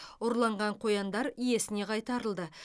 ұрланған қояндар иесіне қайтарылды